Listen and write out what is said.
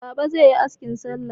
Baba zai yi askin salla.